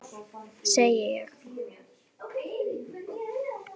Ég sá hana, segi ég.